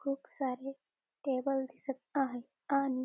खूप सारे टेबल दिसत आहेत आणि--